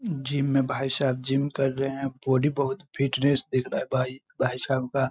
Gym में भाई साहब जिम कर रहे है बॉडी बहुत फिटनेश दिख रहा है भाई भाई साहब का।